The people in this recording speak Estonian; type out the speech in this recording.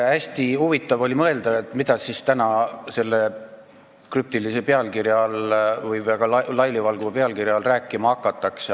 Hästi huvitav oli mõelda, mida siis täna selle krüptilise või väga laialivalguva pealkirja all rääkima hakatakse.